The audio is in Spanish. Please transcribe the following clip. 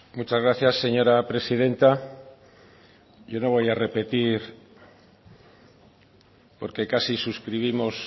muchas gracias señora presidenta yo no voy a repetir porque casi suscribimos